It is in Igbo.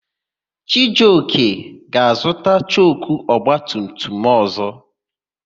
Chijioka ga-azụta choku ọgbatumtum ọ̀zọ́.